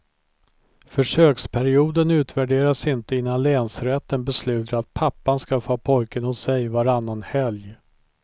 Försöksperioden utvärderas inte innan länsrätten beslutar att pappan ska få ha pojken hos sig varannan helg.